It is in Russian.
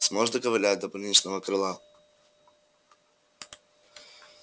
сможешь доковылять до больничного крыла